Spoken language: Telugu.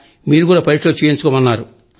మీరు కూడా పరీక్షలు చేయించుకోండి